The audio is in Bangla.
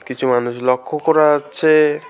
কিছু মানুষ লক্ষ করা যাচ্ছে।